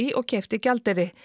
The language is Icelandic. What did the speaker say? og keypti gjaldeyri